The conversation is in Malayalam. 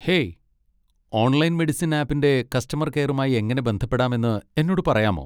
ഹേയ്, ഓൺലൈൻ മെഡിസിൻ ആപ്പിന്റെ കസ്റ്റമർ കെയറുമായി എങ്ങനെ ബന്ധപ്പെടാമെന്ന് എന്നോട് പറയാമോ?